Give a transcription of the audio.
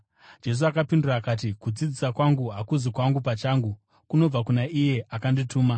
Jesu akapindura akati, “Kudzidzisa kwangu hakuzi kwangu pachangu. Kunobva kuna iye akandituma.